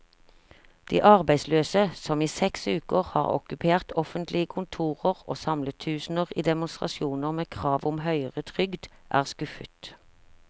De arbeidsløse, som i seks uker har okkupert offentlige kontorer og samlet tusener i demonstrasjoner med krav om høyere trygd, er skuffet.